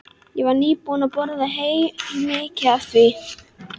Ég var nýbúin að borða helminginn af því.